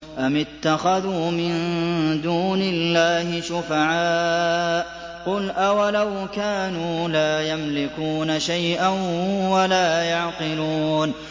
أَمِ اتَّخَذُوا مِن دُونِ اللَّهِ شُفَعَاءَ ۚ قُلْ أَوَلَوْ كَانُوا لَا يَمْلِكُونَ شَيْئًا وَلَا يَعْقِلُونَ